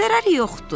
Zərəri yoxdur.